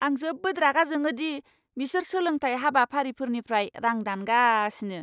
आं जोबोद रागा जोङो दि बिसोर सोलोंथाय हाबाफारिफोरनिफ्राय रां दानगासिनो।